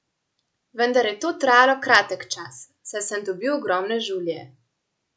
Vendar je to trajalo kratek čas, saj sem dobil ogromne žulje.